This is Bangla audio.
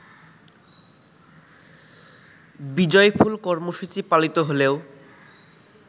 বিজয়ফুল কর্মসূচি পালিত হলেও